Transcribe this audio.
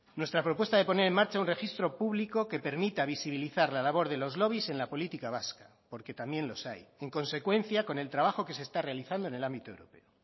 nuestra propuesta de poner en marcha un registro público que permita visibilizar la labor de los lobbies en la política vasca porque también los hay en consecuencia con el trabajo que se está realizando en el ámbito europeo